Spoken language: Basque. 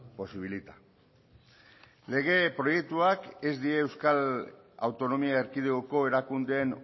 posibilita lege proiektuak ez die euskal autonomia erkidegoko erakundeen